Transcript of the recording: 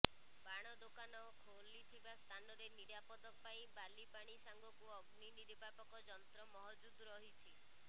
ବାଣ ଦୋକାନ ଖୋଲିଥିବା ସ୍ଥାନରେ ନିରାପଦ ପାଇଁ ବାଲି ପାଣି ସାଙ୍ଗକୁ ଅଗ୍ନି ନିର୍ବାପକ ଯନ୍ତ୍ର ମହଜୁଦ ରହିଛି